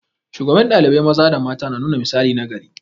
Shugaban ɗalibai maza da mata na nuna misali nagari.